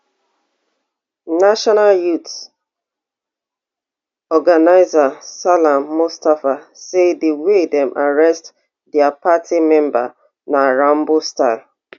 national youth organiser salam mustapha say di way dem arrest dia party member na rambostyle